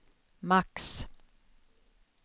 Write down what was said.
max